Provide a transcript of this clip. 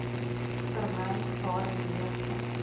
vermy waarin meeste